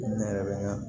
Ne yɛrɛ bɛ n ka